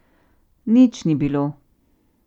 Nič ni bilo.